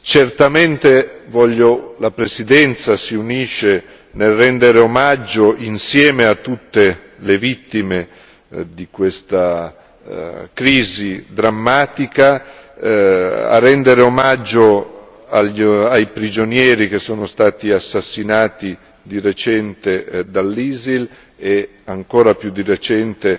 Certamente la Presidenza si unisce nel rendere omaggio insieme a tutte le vittime di questa crisi drammatica, a rendere omaggio ai prigionieri che sono stati assassinati di recente dall'ISIL e ancora più di recente